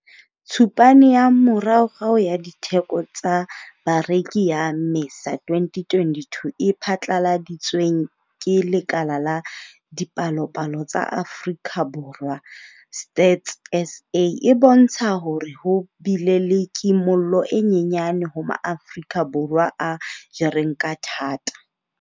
Tshupane ya moraorao ya ditheko tsa Bareki ya Mmesa 2022 e phatlaladitsweng ke Lekala la Dipalopalo tsa Afrika Borwa Stats SA. E bontsha hore ho bile le kimollo e nyenyane ho Maafrika Borwa a jereng ka thata.